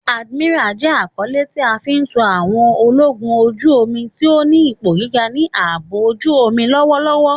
Admiral jẹ akọle ti a fi fun àwọn ologun oju-omi ti o ni ipo giga ni aabo ojuomi lọwọlọwọ.